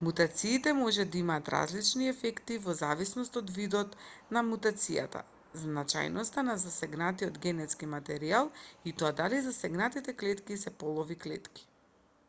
мутациите можат да имаат различни ефекти во зависност од видот на мутацијата значајноста на засегнатиот генетски материјал и тоа дали засегнатите клетки се полови клетки